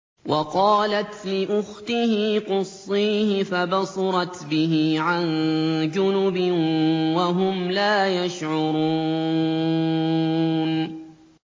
وَقَالَتْ لِأُخْتِهِ قُصِّيهِ ۖ فَبَصُرَتْ بِهِ عَن جُنُبٍ وَهُمْ لَا يَشْعُرُونَ